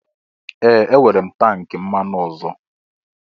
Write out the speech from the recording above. Ee! Enwere m tank mmanụ ọzọ.